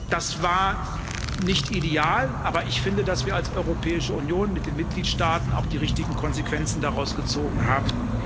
Das war nicht ideal, aber ich finde, dass wir als Europäische Union mit den Mitgliedstaaten auch die richtigen Konsequenzen daraus gezogen haben.